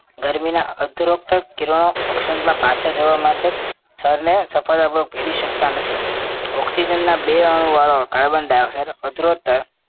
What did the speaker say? ગરમીના ઉત્તરોત્તર કિરણો ઓક્શનમાં પાછા જવા માટે સ્તરને સફળતાપૂર્વક ભેદી શકતા નથી oxygen ના બે અણુવાળો carbon dioxide ઉત્તરોત્તર